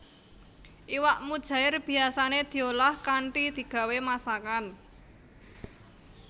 Iwak mujaèr biyasané diolah kanthi digawé masakan